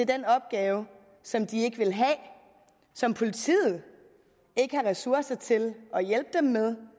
den opgave som de ikke vil have som politiet ikke har ressourcer til at hjælpe dem med